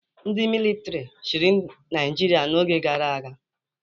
Ndị militri chịrị Naịjirịa n'oge gara aga